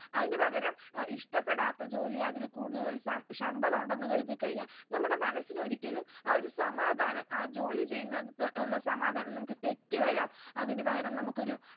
അതിന് പകരം ഏർ ഇഷ്ട്ടപ്പെടാത്ത ജോലി അതിൽ കൂടുതൽ സം ശമ്പളം ഉണ്ടെന്ന് കരുതിക്കഴിഞ്ഞ നമ്മുടെ മനസ്സിനൊരിക്കലും ആ ഒരു സമാധാനം ആ ജോലി ചെയ്യുന്നിടത്ത് ഉള്ള സമാധാനം നമുക്ക് തെറ്റ് വരാം അതിന് പകരം നമുക്കൊരു